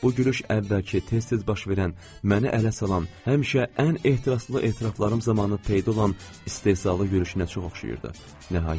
Bu gülüş əvvəlki, tez-tez baş verən, məni ələ salan, həmişə ən ehtiraslı etiraflarım zamanı peyda olan istehzalı gülüşünə çox oxşayırdı.